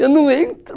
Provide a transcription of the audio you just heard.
Eu não entro.